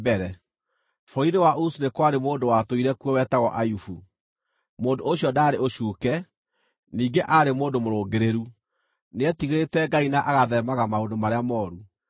Bũrũri-inĩ wa Uzu nĩ kwarĩ mũndũ watũire kuo wetagwo Ayubu. Mũndũ ũcio ndaarĩ ũcuuke ningĩ aarĩ mũndũ mũrũngĩrĩru; nĩetigĩrĩte Ngai na agatheemaga maũndũ marĩa mooru.